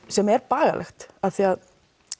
sem er bagalegt af því að